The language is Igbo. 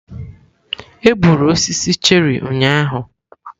Egburu osisi cherị ụnyaahụ.